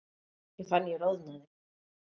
Ég fann ég roðnaði.